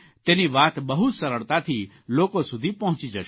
તેની વાત બહુ સરળતાથી લોકો સુધી પહોંચી જશે